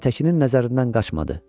Aytəkinin nəzərindən qaçmadı.